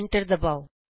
enter ਦਬਾਉ